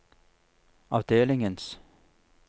avdelingens